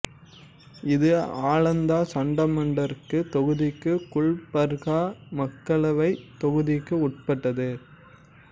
இது ஆளந்தா சட்டமன்றத் தொகுதிக்கும் குல்பர்கா மக்களவைத் தொகுதிக்கும் உட்பட்டது